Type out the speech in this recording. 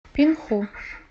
пинху